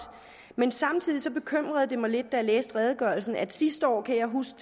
men samtidig bekymrede det mig lidt jeg læste redegørelsen at sidste år kan jeg huske